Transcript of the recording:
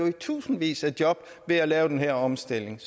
i tusindvis af job ved at lave den her omstilling